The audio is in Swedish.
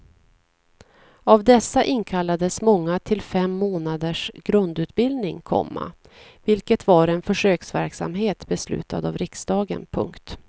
Av dessa inkallades många till fem månaders grundutbildning, komma vilket var en försöksverksamhet beslutad av riksdagen. punkt